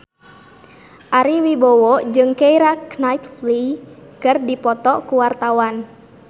Ari Wibowo jeung Keira Knightley keur dipoto ku wartawan